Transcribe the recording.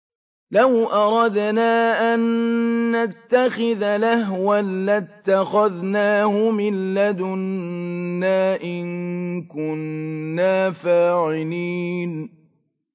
لَوْ أَرَدْنَا أَن نَّتَّخِذَ لَهْوًا لَّاتَّخَذْنَاهُ مِن لَّدُنَّا إِن كُنَّا فَاعِلِينَ